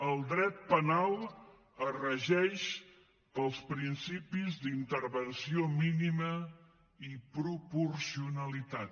el dret penal es regeix pels principis d’intervenció mínima i proporcionalitat